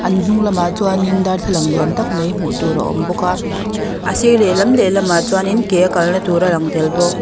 an hnung lamah chuanin darthlalang lian tak mai hmuh tur a awm bawk a a sir lehlam lehlam ah chuanin ke a kalna tur a lang tel bawk.